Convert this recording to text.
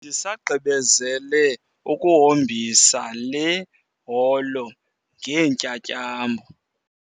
Bendisagqibezele ukuhombisa le holo ngeentyatyambo.